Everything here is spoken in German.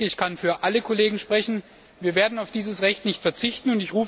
Ich denke, ich kann für alle Kollegen sprechen Wir werden auf dieses Recht nicht verzichten.